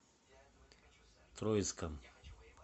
троицком